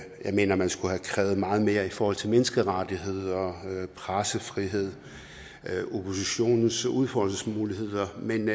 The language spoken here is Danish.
mener at man skulle have krævet meget mere i forhold til menneskerettigheder pressefrihed oppositionens udfoldelsesmuligheder men